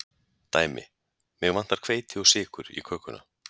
Dæmi: Mig vantar hveiti og sykur í kökuna.